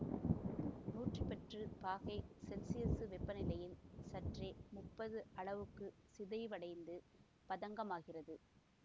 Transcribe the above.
நூற்றி பத்து பாகை செல்சியசு வெப்பநிலையில் சற்றே முப்பது அளவுக்கு சிதைவடைந்து பதங்கமாகிறது